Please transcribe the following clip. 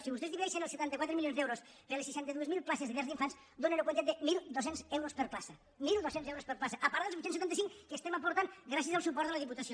si vostès divideixen els setanta quatre milions d’euros per les seixanta dos mil places de llars d’infants dóna una quantitat de mil dos cents euros per plaça mil dos cents euros per plaça a part del vuit cents i setanta cinc que aportem gràcies al suport de la diputació